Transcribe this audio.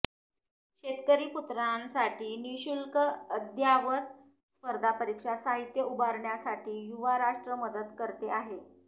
शेतकरीपुत्रांसाठी निःशुल्क अद्ययावत स्पर्धा परीक्षा साहित्य उभारण्यासाठी युवाराष्ट्र मदत करते आहे